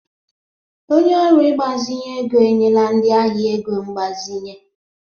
Onye ọrụ mgbazinye ego enyela ndị ahịa ego mgbazinye.